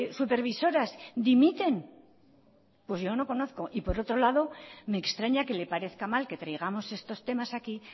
supervisoras dimiten pues yo no conozco y por otro lado me extraña que le parezca mal que traigamos estos temas aquí